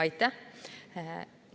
Aitäh!